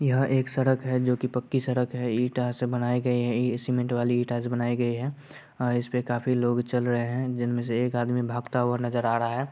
यह एक सडक हैं जो की पक्की सड़क हैं ईटा से बनाए गए हैं। ई-- सीमेंट बालू ईटा से बनाए गए हैं। अ इसपे काफी लोग चल रहे हैं। जिनमे से एक आदमी भागता हुआ नजर आ रहा हैं।